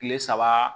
Kile saba